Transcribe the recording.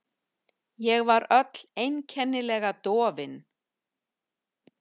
Ég var öll einkennilega dofin.